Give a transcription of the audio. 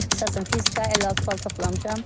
İxtisasım fizika, 56 bal toplamışam.